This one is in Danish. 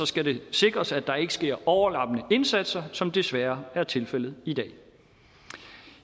skal det sikres at der ikke sker overlappende indsatser som det desværre er tilfældet i dag